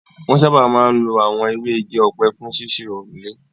Wọn sáábà máa ń lo àwọn ewé igi ọ̀pẹ fún ṣíṣe òrùlé.